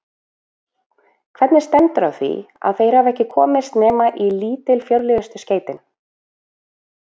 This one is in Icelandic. Hvernig stendur á því, að þeir hafa ekki komist nema í lítilfjörlegustu skeytin?